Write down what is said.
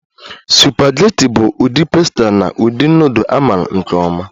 Supageti bụ ụdị pasta na ụdị nudul a maara nke ọma